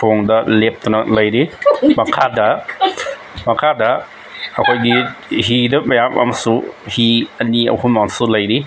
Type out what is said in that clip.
ꯊꯣꯡꯗ ꯂꯦꯞꯇꯨꯅ ꯂꯩꯔꯤ ꯃꯈꯥꯗ ꯃꯈꯥꯗ ꯑꯩꯈꯣꯏꯒꯤ ꯍꯤꯗ ꯃꯌꯥꯝ ꯑꯃꯁꯨ ꯍꯤ ꯑꯅꯤ ꯑꯍꯨꯝ ꯑꯃꯁꯨ ꯂꯩꯔꯤ꯫